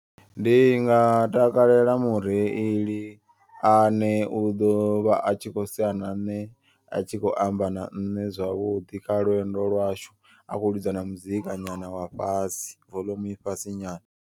Ndinga takalela mureili ane u ḓovha atshikho sea na nṋe a tshikho amba na ṋne zwavhuḓi. Kha lwendo lwashu akho ḽidza na muzika nyana wa fhasi voḽomu i fhasi nyana.